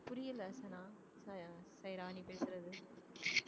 புரியல சனா ஆஹ் ராணி பேசுறது